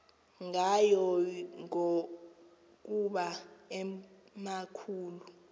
ngayo ngokuba emakhulu